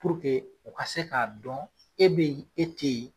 o ka se k'a dɔn e bɛ yen e tɛ yen.